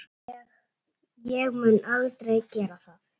Ég mun aldrei gera það.